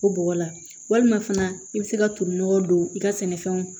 O bɔgɔ la walima fana i bɛ se ka toli nɔgɔ don i ka sɛnɛfɛnw